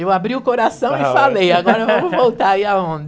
Eu abri o coração e falei, agora eu vou voltar a ir aonde.